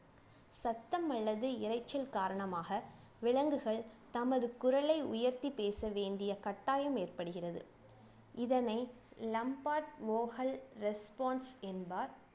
சத்தம் அல்லது இரைச்சல் காரணமாக விலங்குகள் தமது குரலை உயர்த்தி பேச வேண்டிய கட்டாயம் ஏற்படுகிறது இதனை response என்பார்